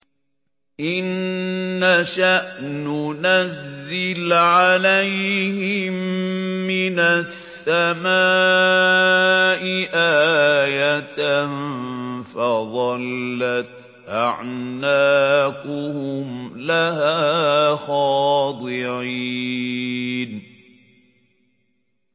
إِن نَّشَأْ نُنَزِّلْ عَلَيْهِم مِّنَ السَّمَاءِ آيَةً فَظَلَّتْ أَعْنَاقُهُمْ لَهَا خَاضِعِينَ